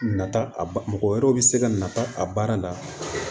Nata a ba mɔgɔ wɛrɛw bɛ se ka na a baara la